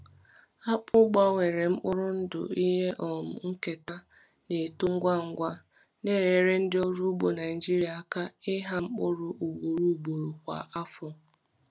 Akpụ gbanwere mkpụrụ ndụ ihe um nketa na-eto ngwa ngwa, na-enyere ndị ọrụ ugbo Naijiria aka ịgha mkpụrụ ugboro ugboro kwa afọ.